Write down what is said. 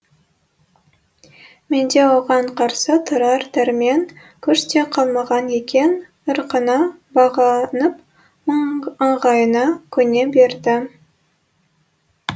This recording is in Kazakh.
менде оған қарсы тұрар дәрмен күш те қалмаған екен ырқына бағынып ыңғайына көне бердім